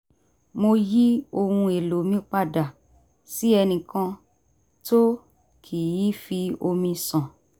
mo yí ohun èlò mi padà sí ẹnìkan tó kì í fi omi ṣàn